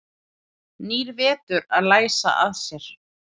Nýr vetur að læsa að sér.